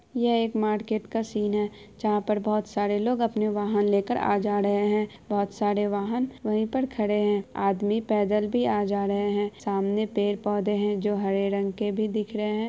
यह एक मार्केट का सीन हैं जहाँ पर बहुत सारे लोग अपने वाहन लेकर आ जा रहेरहैं हैं बहुत सारे वाहन वही पर खड़े हैं आदमी पेदल भी आ जा रहे हैं सामने पेड़-पोधे हैं जो हरे रंग के भी दिख रहे हैं।